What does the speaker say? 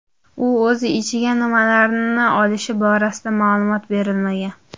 U o‘zi ichiga nimalarni olishi borasida ma’lumot berilmagan.